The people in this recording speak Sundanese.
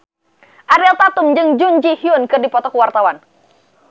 Ariel Tatum jeung Jun Ji Hyun keur dipoto ku wartawan